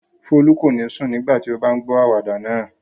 Folú kò ní sùn nígbà tí ó bá ń gbọ àwàdà náà.